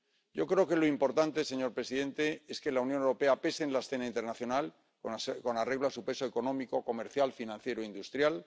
Yo creo que lo importante, señor presidente, es que la Unión Europea pese en la escena internacional con arreglo a su peso económico, comercial, financiero e industrial